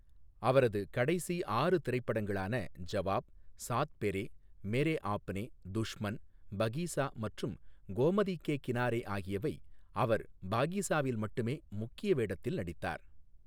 அவரது கடைசி ஆறு திரைப்படங்களான ஜவாப், சாத் பெரே, மேரே ஆப்னே, துஷ்மன், பகீசா மற்றும் கோமதி கே கினாரே ஆகியவை, அவர் பாகீசாவில் மட்டுமே முக்கிய வேடத்தில் நடித்தார்.